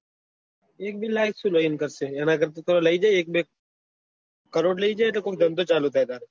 એક બે લાખ શું લઇ ને કરશે એના કરતા લઇ જાય એક બે કરોડ લઇ જાય અને ધંધો ચાલુ કરે